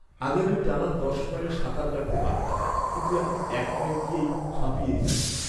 আগে আমি টানা দশ মাইল সাঁতার কাটতে পারতাম, কিন্তু এখন এক মাইল গিয়েই হাঁপিয়ে যাই।